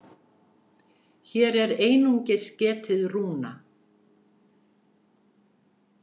Hér er einungis getið rúna.